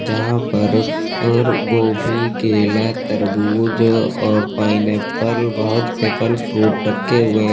जहां पर और गोभी केला तरबूज और पाइनएप्पल बहोत से फल फ्रूट रखे हुए हैं।